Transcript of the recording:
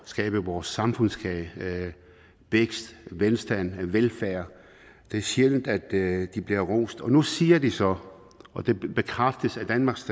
skabe vores samfundskage vækst velstand og velfærd det er sjældent at de bliver rost og nu siger de så og det bekræftes af danmarks